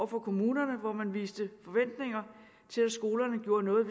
på kommunerne hvor man viste forventninger til at skolerne gjorde noget